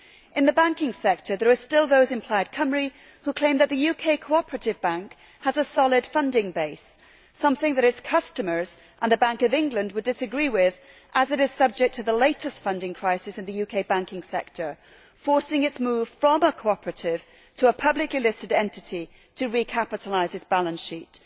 In the banking sector there are still those in Plaid Cymru who claim that the UK Cooperative Bank has a solid funding base something that its customers and the Bank of England would disagree with, as it is subject to the latest funding crisis in the UK banking sector, forcing its move from a cooperative to a publicly listed entity to recapitalise its balance sheet.